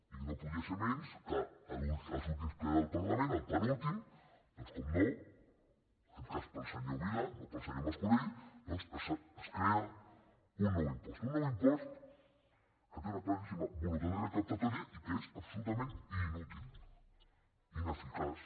i no podia ser menys que a l’últim ple del parlament al penúltim en aquest cas pel senyor vila no pel senyor mascolell doncs es crea un impost un nou impost que té una claríssima voluntat recaptatòria que és absolutament inútil ineficaç